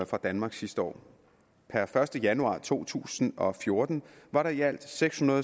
fra danmark sidste år per første januar to tusind og fjorten var der i alt sekshundrede